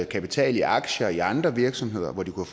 kapital i aktier i andre virksomheder hvor de kunne